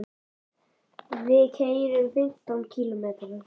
Við keyrum fimmtán kílómetra.